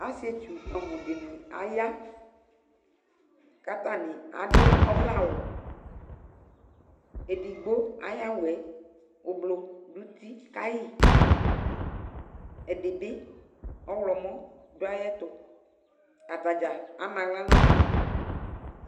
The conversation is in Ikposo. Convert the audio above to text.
Asɩetsu bʋɛamʋ dɩnɩ aya kʋ atanɩ adʋ ɔvlɛawʋ Edigbo ayʋ awʋ yɛ ʋblo dʋ uti ka yɩ Ɛdɩ bɩ ɔɣlɔmɔ dʋ ayɛtʋ Ata dza ama aɣla nʋ ɔna